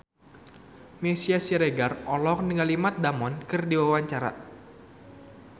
Meisya Siregar olohok ningali Matt Damon keur diwawancara